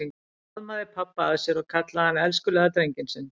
Hún faðmaði pabba að sér og kallaði hann elskulega drenginn sinn.